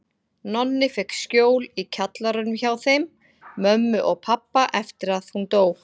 Nonni fékk skjól í kjallaranum hjá þeim mömmu og pabba eftir að hún dó.